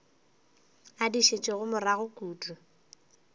a di šetšego morago kudu